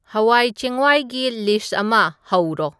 ꯍꯋꯥꯏ ꯆꯦꯡꯋꯥꯏꯒꯤ ꯂꯤꯁ꯭ꯠ ꯑꯃ ꯍꯧꯔꯣ